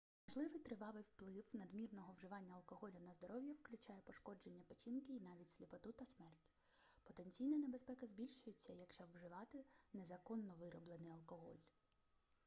можливий тривалий вплив надмірного вживання алкоголю на здоров'я включає пошкодження печінки й навіть сліпоту та смерть потенційна небезпека збільшується якщо вживати незаконно вироблений алкоголь